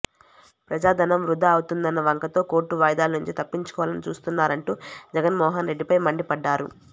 ప్రజాధనం వృథా అవుతోందన్న వంకతో కోర్టు వాయిదాల నుంచి తప్పించుకోవాలని చూస్తున్నారంటూ జగన్మోహన్ రెడ్డిపై మండిపడ్డారు